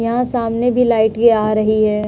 यहाँ सामने भी लाइटे आ रहीं हैं।